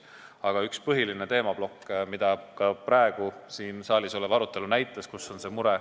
Aga üks põhiline teemaplokk tuli välja ka praegu siin saalis olnud arutelust.